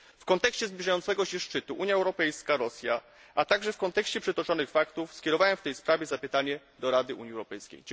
W kontekście zbliżającego się szczytu Unia Europejska Rosja, a także w kontekście przytoczonych faktów, skierowałem w tej sprawie zapytanie do Rady Unii Europejskiej.